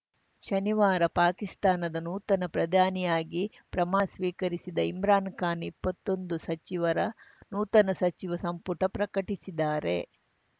ಶನಿವಾರ ಪಾಕಿಸ್ತಾನದ ನೂತನ ಪ್ರಧಾನಿಯಾಗಿ ಪ್ರಮಾನ ಸ್ವೀಕರಿಸಿದ ಇಮ್ರಾನ್‌ ಖಾನ್‌ ಇಪ್ಪತ್ತೊಂದು ಸಚಿವರ ನೂತನ ಸಚಿವ ಸಂಪುಟ ಪ್ರಕಟಿಸಿದ್ದಾರೆ